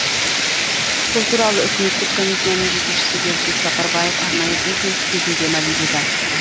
бұл туралы үкіметтік комиссияның жетекшісі бердібек сапарбаев арнайы брифинг кезінде мәлімдеді